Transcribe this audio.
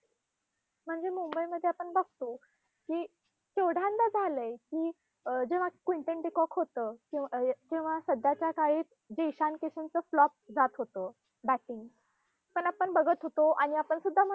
म्हणजे मुंबईमध्ये आपण बघतो की, केवढ्यांदा झालंय की अं जेव्हा quinton tea knock होतं अं केव्हा सध्याच्या काळी जे ईशान किशनचं flop जात होतं batting पण आपण बघत होतो आणि आपण सुद्धा